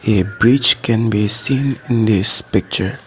a bridge can be seen in this picture.